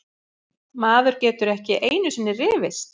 Maður getur ekki einusinni rifist!